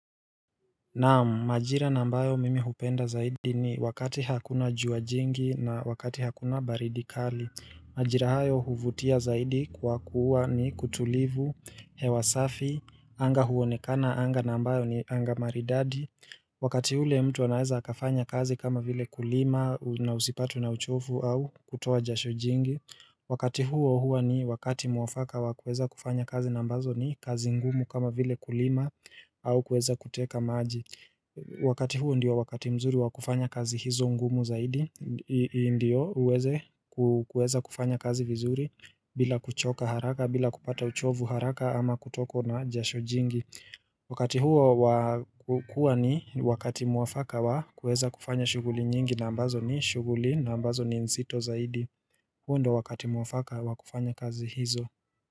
Naam, majira ambayo mimi hupenda zaidi ni wakati hakuna jua jingi na wakati hakuna baridi kali. Majira hayo huvutia zaidi kwa kuwa ni kutulivu, hewa safi, anga huonekana, anga ambayo ni anga maridadi. Wakati ule mtu anaeza akafanya kazi kama vile kulima na usipatwe na uchovu au kutoa jasho jingi. Wakati huo hua ni wakati mwafaka wa kuweza kufanya kazi ambazo ni kazi ngumu kama vile kulima au kuweza kuteka maji Wakati huo ndio wakati mzuri wa kufanya kazi hizo ngumu zaidi ndio uweze kuweza kufanya kazi vizuri bila kuchoka haraka bila kupata uchovu haraka ama kutokwa na jasho jingi Wakati huo wa hua ni wakati mwafaka wa kuweza kufanya shughuli nyingi na ambazo ni shughuli na ambazo ni nzto zaidi huu ndo wakati mwafaka wa kufanya kazi hizo.